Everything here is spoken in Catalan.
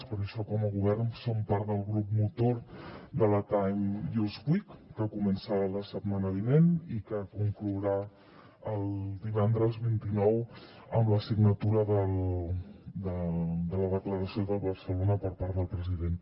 per això com a govern som part del grup motor de la time use week que comença la setmana vinent i que conclourà el divendres vint nou amb la signatura de la declaració de barcelona per part del president